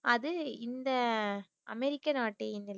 அது இந்த அமெரிக்கா நாட்டை